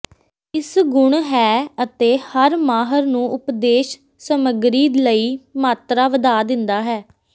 ਇਸ ਗੁਣ ਹੈ ਅਤੇ ਹਰ ਮਾਹਰ ਨੂੰ ਉਪਦੇਸ਼ ਸਮੱਗਰੀ ਲਈ ਮਾਤਰਾ ਵਧਾ ਦਿੰਦਾ ਹੈ